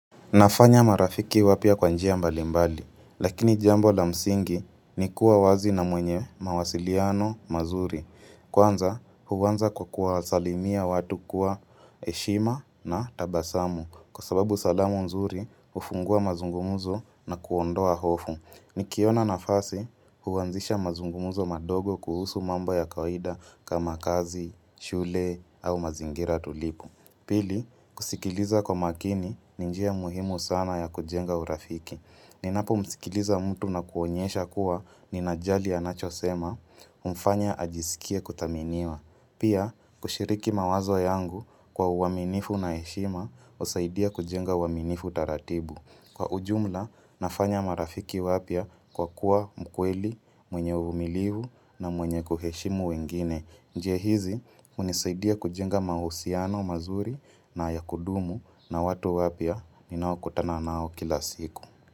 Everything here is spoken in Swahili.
Nafanya marafiki wapya kwa njia mbalimbali, lakini jambo la msingi ni kuwa wazi na mwenye mawasiliano mazuri. Kwanza, huanza kwa kuwasalimia watu kwa heshima na tabasamu kwa sababu salamu nzuri hufungua mazungumuzo na kuondoa hofu. Nikiona nafasi, huanzisha mazungumuzo madogo kuhusu mambo ya kawaida kama kazi, shule au mazingira tulivu. Pili, kusikiliza kwa makini ni njia muhimu sana ya kujenga urafiki. Ninapomsikiliza mtu na kuonyesha kuwa ninajali anachosema, humfanya ajisikie kuthaminiwa. Pia, kushiriki mawazo yangu kwa uaminifu na heshima, husaidia kujenga uaminifu taratibu. Kwa ujumla, nafanya marafiki wapya kwa kuwa mkweli, mwenye uvumilivu na mwenye kuheshimu wengine. Njia hizi hunisaidia kujenga mahusiano mazuri na ya kudumu na watu wapya ninaokutana nao kila siku.